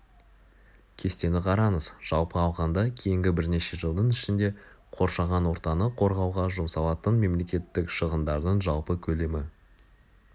кестені қараңыз жалпы алғанда кейінгі бірнеше жылдың ішінде қоршаған ортаны қорғауға жұмсалатын мемлекеттік шығындардың жалпы көлемі